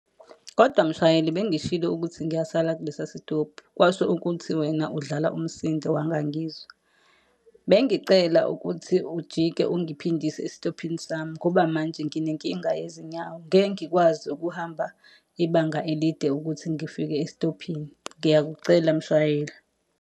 Kodwa mshayeli bengishilo ukuthi ngiyasala kulesiya sitobhi, kwasho ukuthi wena udlala umsindo wangangizwa. Bengicela ukuthi ujike ungiphindise esitophini sami ngoba manje nginenkinga yezinyawo, ngeke ngikwazi ukuhamba ibanga elide ukuthi ngifike esitophini. Ngiyakucela mshayeli.